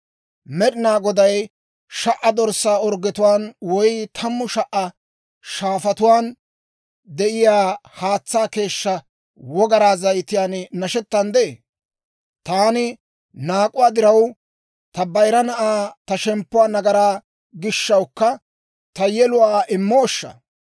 Med'inaa Goday sha"a dorssaa orggetuwaan woy tammu sha"a shaafatuwaan de'iyaa haatsaa keeshshaa wogaraa zayitiyaan nashettanddee? Ta naak'uwaa diraw, ta bayira na'aa, ta shemppuwaa nagaraa gishshawukka ta yeluwaa immooshsha?